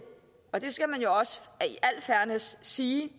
og det skal man jo også sige